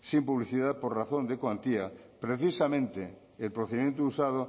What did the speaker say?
sin publicidad por razón de cuantía precisamente el procedimiento usado